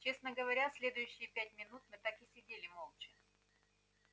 честно говоря следующие пять минут мы так и сидели молча